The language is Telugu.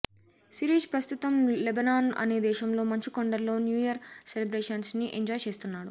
శిరీష్ ప్రస్తుతం లెబనాన్ అనే దేశంలో మంచు కొండల్లో న్యూఇయర్ సెలబ్రేషన్స్ ని ఎంజాయ్ చేస్తున్నాడు